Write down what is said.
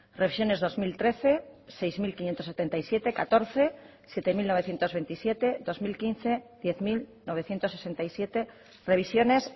revisiones dos mil trece sei mila bostehun eta hirurogeita hamazazpi bi mila hamalau zazpi mila bederatziehun eta hogeita zazpi bi mila hamabost hamar mila bederatziehun eta hirurogeita zazpi revisiones